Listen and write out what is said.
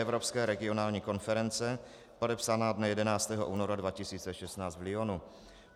Evropské regionální konference, podepsaná dne 11. února 2016 v Lyonu.